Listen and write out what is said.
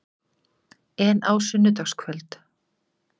En á sunnudagskvöld?